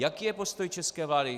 Jaký je postoj české vlády?